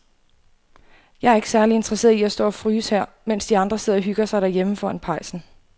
Jeg er ikke særlig interesseret i at stå og fryse her, mens de andre sidder og hygger sig derhjemme foran pejsen.